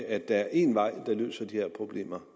at der er én vej der løser de her problemer